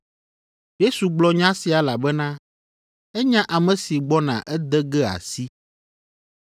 Yesu gblɔ nya sia elabena enya ame si gbɔna ede ge asi.